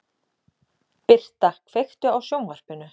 Birta, kveiktu á sjónvarpinu.